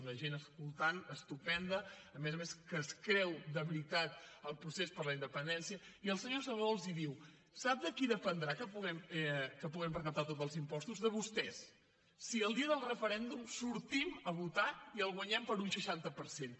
una gent escoltant estupenda a més a més que es creu de veritat el procés per a la independència i el senyor salvadó els diu sap de qui dependrà que puguem recaptar tots els impostos de vostès si el dia del referèndum sortim a votar i el guanyem per un seixanta per cent